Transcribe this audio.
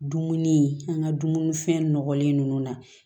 Dumuni an ka dumuni fɛn nɔgɔlen ninnu na